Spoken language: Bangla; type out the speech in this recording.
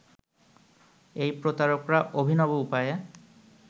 এই প্রতারকরা অভিনব উপায়ে